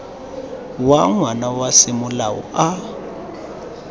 wa ngwana wa semolao a